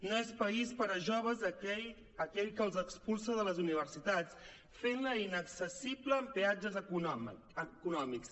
no és país per a joves aquell que els expulsa de les universitats fent les inaccessibles amb peatges econòmics